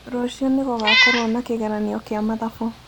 Rũciũ nĩ gũgakorũo na kĩgeranio kĩa mathabu.